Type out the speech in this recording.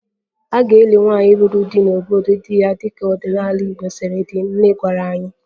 A ga-eli nwaanyị lụrụ di n'obodo di ya dịka ọdịnala Igbo siri dị, nne gwara anyị